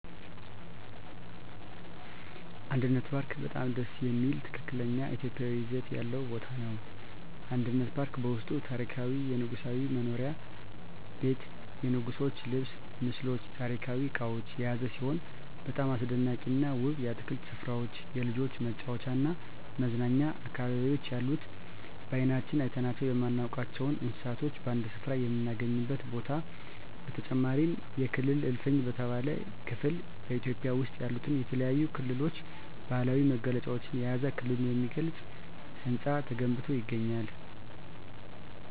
አንድነት ፓርክ በጣም ደስ የሚል ትክክለኛ ኢትዮጵያዊ ይዘት ያለው ቦታ ነው። አንድነት ፓርክ በውስጡም ታሪካዊ የንጉሣዊ መኖሪያ ቤት የንጉሥች ልብስ ምስሎች ታሪካዊ እቃዎች የያዘ ሲሆን በጣም አስደናቂና ውብ የአትክልት ስፍራዎች የልጆች መጫወቻና መዝናኛ አካባቢዎች ያሉት በአይናችን አይተናቸው የማናውቃቸውን እንስሳቶች በአንድ ስፍራ የምናገኝበት ቦታ በተጨማሪም የክልል እልፍኝ በተባለው ክፍል በኢትዮጵያ ውስጥ ያሉትን የተለያዩ ክልሎች ባህላዊ መገለጫዎችን የያዘ ክልሉን የሚገልጽ ህንፃ ተገንብቶ ይገኛል።